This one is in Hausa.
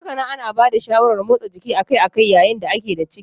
Hakanan ana bada shawarar motsa jiki akai-akai yayin da da a ke da ciki.